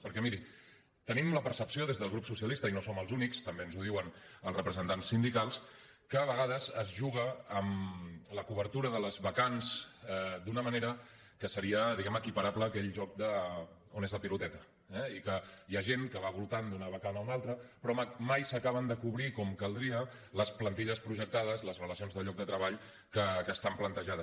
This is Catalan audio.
perquè miri tenim la percepció des del grup socialista i no som els únics també ens ho diuen els representants sindicals que a vegades es juga amb la cobertura de les vacants d’una manera que seria diguem ne equiparable a aquell joc d’on és la piloteta eh i que hi ha gent que va voltant d’una vacant a una altra però mai s’acaben de cobrir com caldria les plantilles projectades les relacions de llocs de treball que estan plantejades